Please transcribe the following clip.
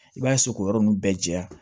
I b'a k'o yɔrɔ ninnu bɛɛ jɛya